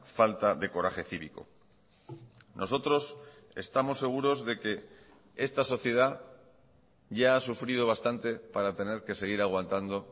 falta de coraje cívico nosotros estamos seguros de que esta sociedad ya ha sufrido bastante para tener que seguir aguantando